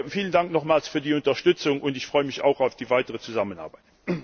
Vielen Dank nochmals für die Unterstützung, und ich freue mich auch auf die weitere Zusammenarbeit!